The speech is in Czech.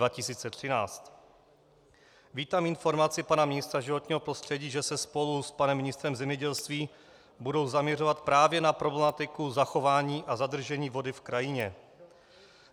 Vítám informaci pana ministra životního prostředí, že se spolu s panem ministrem zemědělství budou zaměřovat právě na problematiku zachování a zadržení vody v krajině.